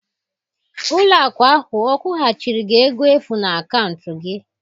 Ụlọ akụ ahụ ọ kwụghachiri gị ego efu na akaụntụ gị?